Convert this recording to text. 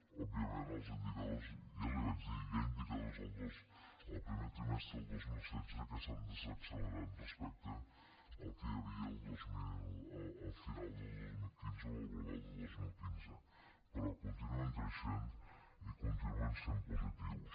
òbviament els indicadors ja li vaig dir hi ha indicadors al primer trimestre del dos mil setze que s’han desaccelerat respecte al que hi havia al final del dos mil quinze o el global de dos mil quinze però continuen creixent i continuen sent positius